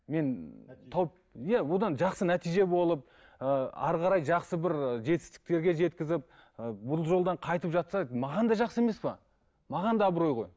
мен тауып иә одан жақсы нәтиже болып ы әрі қарай жақсы бір ы жетістіктерге жеткізіп ы бұл жолдан қайтып жатса маған да жақсы емес пе маған да абырой ғой